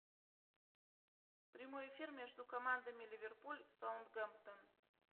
прямой эфир между командами ливерпуль саутгемптон